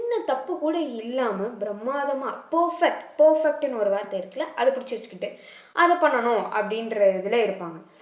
சின்ன தப்பு கூட இல்லாம பிரமாதமா perfect perfect ன்னு ஒரு வார்த்தை இருக்குல்ல அதை புடிச்சு வச்சுக்கிட்டு அதை பண்ணணும் அப்படின்ற இதுல இருப்பாங்க